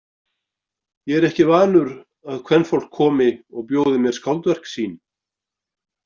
Ég er ekki vanur að kvenfólk komi og bjóði mér skáldverk sín.